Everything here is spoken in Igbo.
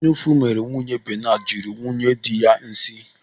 Anyaụfụ meere nwunye Benadu jiri nwunyedị ya nsị.